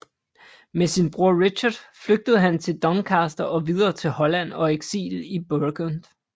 Med sin bror Richard flygtede han til Doncaster og videre til Holland og eksil i Burgund